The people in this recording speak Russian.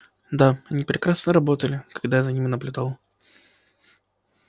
да они прекрасно работали когда я за ними наблюдал